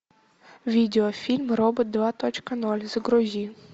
видеофильм робот два точка ноль загрузи